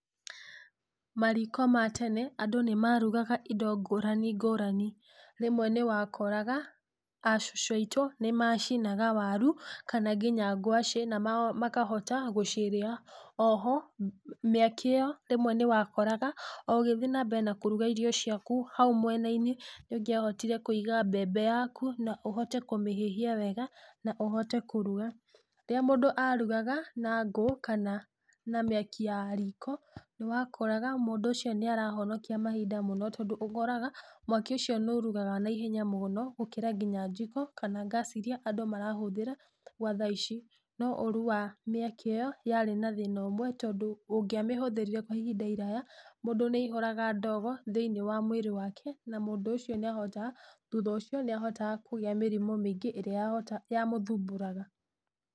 Mariko ma tene, andũ nĩmarugaga indo ngũrani ngũrani, rĩmwe nĩwakoraga acũcũ aitũ, nĩmacinaga waru, kana nginya ngwaci, namakahota gũcirĩa, oho, mĩaki ĩyo rĩmwe nĩwakoraga, o ũgĩthĩĩ nambere na kũruga irio ciaku hau mwenainĩ, nĩũngĩahotire kũiga mbembe yaku, na ũhote kũmĩhĩhia wega, na ũhote kũruga. Rĩrĩa mũndũ arugaga na ngũ kana na mĩaki ya riko, nĩwakoraga mũndũ ũcio nĩarahonokia mahinda mũno tondũ ũkoraga mwaki ũcio nĩ ũrugaga na ihenya mũno, gũkĩra nginya njiko, kana ngasi iria andũ marahũthĩra gwathaici. No ũrũ wa mĩaki ĩyo yarĩ na thĩna ũmwe tondũ ũngĩa mĩhũthĩrire kwa ihinda iraya, mũndũ aihũraga ndogo thinĩ wa mwĩrĩ wake, na mũndũ ũcio nĩahotaga thutha ũcio nĩahotaga kũgĩa mĩrimũ mĩingĩ ĩrĩa yamũthumbũraga.